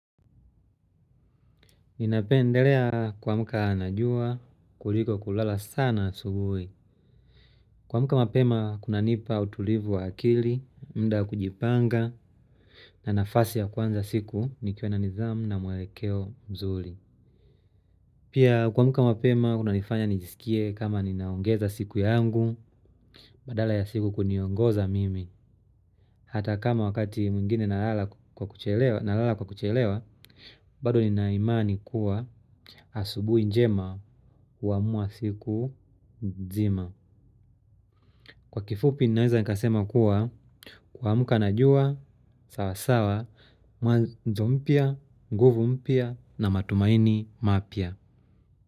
Ninapendelea kuamka na jua kuliko kulala sana asubuhi. Kuamka mapema kunanipa utulivu wa akili muda wa kujipanga na nafasi ya kuanza siki nikiwa na nidhamu na mwelekeo mzuri. Pia kuamka mapema kuna nifanya nijisikie kama ninaongeza siku yangu badala ya siku kuniongoza mimi. Hata kama wakati mwingine nalala kwa kuchelewa, bado nina imani kuwa asubuhi njema huamua siku nzima. Kwa kifupi, ninaweza nikasema kuwa kuamka najua sawa sawa, mwanzo mpya, nguvu mpya na matumaini mapya.